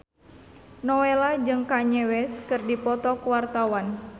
Nowela jeung Kanye West keur dipoto ku wartawan